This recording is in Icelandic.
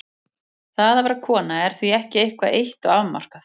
Það að vera kona er því ekki eitthvað eitt og afmarkað.